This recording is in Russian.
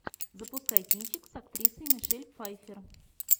запускай кинчик с актрисой мишель пфайффер